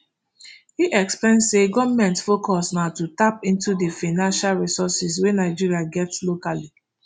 im explain say goment focus na to tap into di financial resources wey nigeria get locally